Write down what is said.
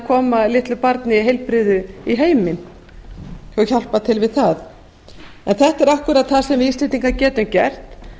koma litlu barni heilbrigðu í heiminn og hjálpa til við það þetta er einmitt það sem við íslendingar getum gert